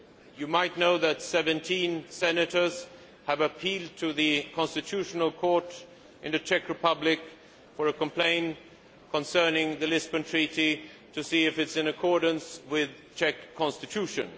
You might know that 17 senators have appealed to the Constitutional Court in the Czech Republic with a complaint concerning the Lisbon Treaty, to see if it is in accordance with the Czech Constitution.